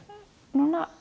núna